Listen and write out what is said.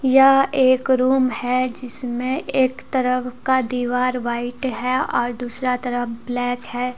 यह एक रूम है जिसमें एक तरफ का दीवाल वाइट है और दूसरा तरफ ब्लैक है।